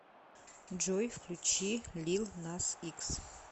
джой включи лил нас икс